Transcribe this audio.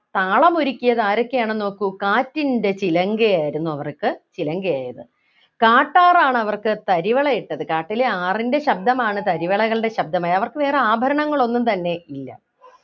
താളം ഒരുക്കിയത് ആരൊക്കെയാണെന്ന് നോക്കൂ കാറ്റിന്റെ ചിലങ്കയായിരുന്നു അവർക്ക് ചിലങ്കയായത് കാട്ടാറാണ് അവർക്ക് തരിവളയിട്ടത് കാട്ടിലെ ആറിൻ്റെ ശബ്ദമാണ് തരിവളകളുടെ ശബ്ദമായി അവർക്ക് വേറെ ആഭരണങ്ങൾ ഒന്നും തന്നെ ഇല്ല